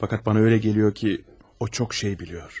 Fakat bana öyle geliyor ki o çok şey biliyor.